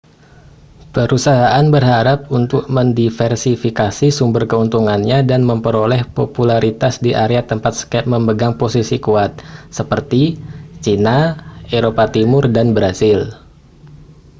perusahaan berharap untuk mendiversifikasi sumber keuntungannya dan memperoleh popularitas di area tempat skype memegang posisi kuat seperti china eropa timur dan brasil